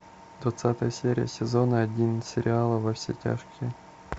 двадцатая серия сезона один сериала во все тяжкие